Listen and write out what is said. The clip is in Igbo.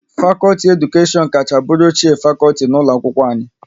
Fakọlti Edukashion kacha bụrụ ochie fakọlti n'ụlọ akwụkwọ anyị